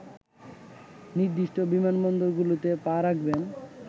নির্দিষ্ট বিমানবন্দরগুলোতে পা রাখবেন